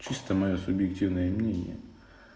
чисто моё субъективное мнение